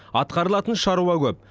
атқарылатын шаруа көп